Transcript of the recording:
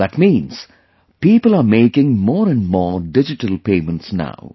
That means, people are making more and more digital payments now